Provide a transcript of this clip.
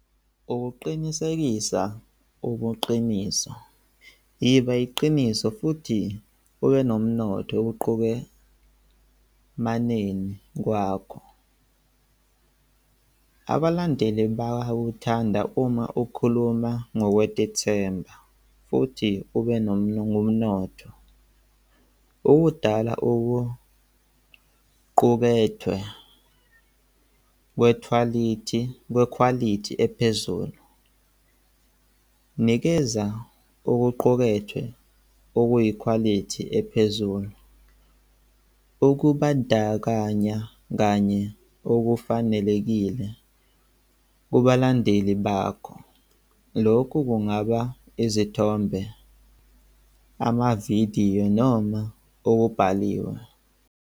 Ukuqinisekisa ubuqiniso, iba iqiniso futhi ube nomnotho, ukuqukemanini kwakho. Abalandeli bayakuthanda uma ukhuluma ngokwetithemba futhi ube nobumnotho. Ukudala okuqukethwe kwekhwalithi, kwekhwalithi ephezulu. Nikeza okuqukethwe okuyikhwalithi ephezulu, ukubandakanya kanye okufanelekile kubalandeli bakho. Lokhu kungaba izithombe, amavidiyo noma okubhaliwe.